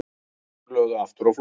Strákarnir lögðu aftur á flótta.